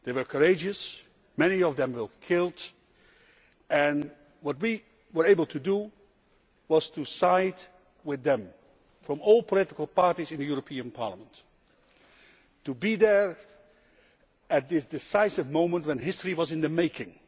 They were courageous, many of them were killed, and what we were able to do was side with them, from all political parties in this Parliament to be there at this decisive moment when history was in the making.